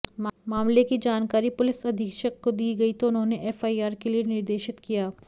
मामले की जानकारी पुलिस अधीक्षक को दी गई तो उन्होने एफआईआर के लिए निर्देशित किया